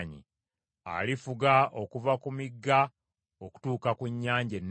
Alifuga okuva ku migga okutuuka ku nnyanja ennene.